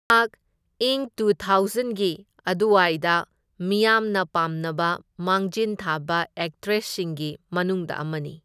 ꯏꯪ ꯇꯨ ꯊꯧꯎꯖꯟꯒꯤ ꯑꯗꯨꯋꯥꯏꯗ ꯃꯤꯌꯥꯝꯅ ꯄꯥꯝꯅꯕ ꯃꯥꯡꯖꯤꯟ ꯊꯥꯕ ꯑꯦꯛꯇ꯭ꯔꯦꯁꯁꯤꯡꯒꯤ ꯃꯅꯨꯡꯗ ꯑꯃꯅꯤ꯫